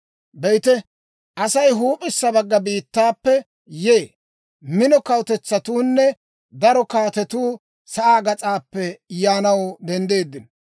«Be'ite, Asay huup'issa bagga biittaappe yee; mino kawutetsatuunne daro kaatetuu sa'aa gas'aappe yaanaw denddiino.